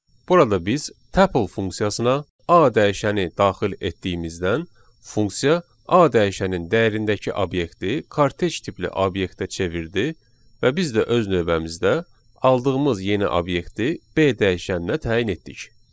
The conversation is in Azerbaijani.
Burada biz tuple funksiyasına A dəyişəni daxil etdiyimizdən funksiya A dəyişənin dəyərindəki obyekti kortej tipli obyektə çevirdi və biz də öz növbəmizdə aldığımız yeni obyekti B dəyişəninə təyin etdik.